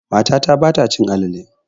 Matata ba ta cin alale.